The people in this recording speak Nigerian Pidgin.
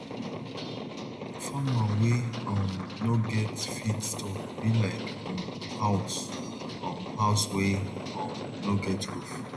farmer wey um no get feed store be like um house um house wey um no get roof